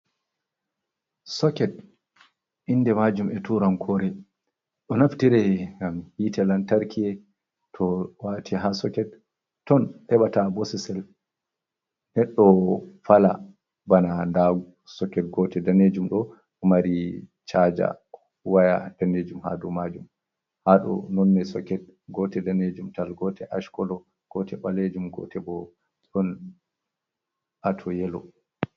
Soket inde majum e turan kore, ɗo naftire ngam hitte lantarki to wati ha soket ton heɓa ta bosesel neɗɗo fala bana nda soket gotel ɗanejum ɗo ɗo mari chaja waya ɗanejum ha dou majum ha dou, nonne soket gotel ɗanejum tal, gotel ash kolo, gotel ɓalejum, gotel bo on ato yelo.